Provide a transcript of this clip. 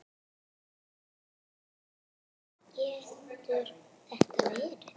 Lóa: Hvað getur þetta verið?